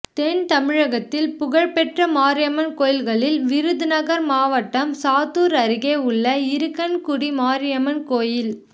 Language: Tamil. தென் தமிழகத்தில் புகழ் பெற்ற மாரியம்மன் கோயில்களில் விருதுநகா் மாவட்டம் சாத்தூா் அருகே உள்ள இருக்கன்குடி மாரியம்மன் கோயில்